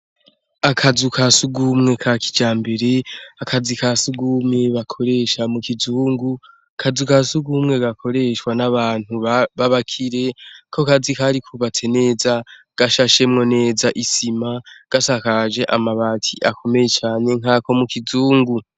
Akazu ka sugumwe ka kijambere akazi ka sugumwe bakoresha mu kizungu, akazu ka sugumwe gakoreshwa n'abantu b'abakire, ako kazu kari kubatse neza gashashemwo neza isima gasakaje amabati akomeye cane nkako mu kizungu.